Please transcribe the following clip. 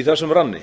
í þessum ranni